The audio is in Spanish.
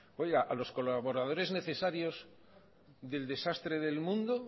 oiga a los colaboradores necesarios del desastre del mundo